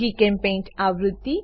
જીચેમ્પેઇન્ટ આવૃત્તિ